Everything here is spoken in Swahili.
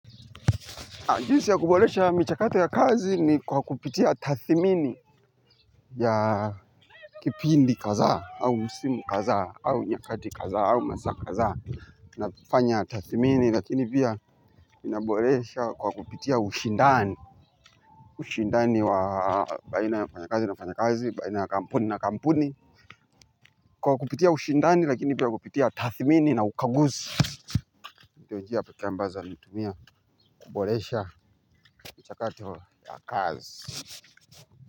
Anjisi ya kubolesha michakato ya kazi ni kwa kupitia tathimini ya kipindi kaza au msimu kaza au nyakati kaza au masa kaza. Na pofanya tathimini lakini pia inabolesha kwa kupitia ushindani. Ushindani wa baina ya wafanya kazi na wafanya kazi, baina ya kampuni na kampuni. Kwa kupitia ushindani lakini pia kupitia tathimini na ukaguzi. Ndionjia peke ambazo natumia kubolesha michakato ya kazi.